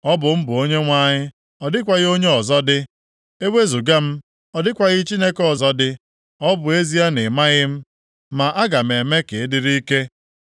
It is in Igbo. Ọ bụ m bụ Onyenwe anyị, ọ dịghịkwa onye ọzọ dị; ewezuga m, ọ dịkwaghị Chineke ọzọ dị. Ọ bụ ezie na ị maghị m, ma aga m eme ka ị dịrị ike.